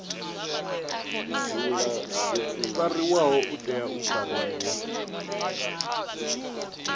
fariwaho u tea u fariwa